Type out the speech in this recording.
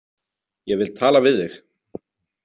Ég vil tala við þig.